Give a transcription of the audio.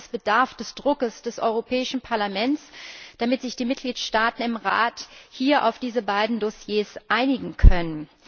Das heißt es bedarf des Drucks des Europäischen Parlaments, damit sich die Mitgliedstaaten im Rat auf diese beiden Dossiers hier einigen können.